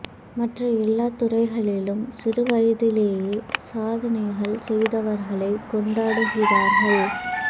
மற்ற எல்லாத் துறைகளிலும் சிறு வயதிலேயே சாதனைகள் செய்தவர்களைக் கொண்டாடுகிறார்கள்